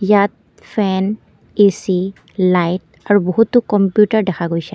ইয়াত fan AC light আৰু বহুতো কম্পিউটাৰ দেখা গৈছে।